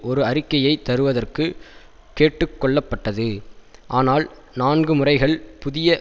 ஒரு அறிக்கையை தருவதற்கு கேட்டு கொள்ளப்பட்டது ஆனால் நான்கு முறைகள் புதிய